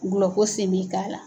Gulɔko sen bɛ k'a la.